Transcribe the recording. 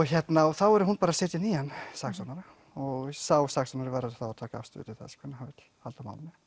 þá verður hún bara að setja nýjan saksóknara og sá saksóknari verður þá að taka afstöðu til þess hvernig hann vill halda á málunum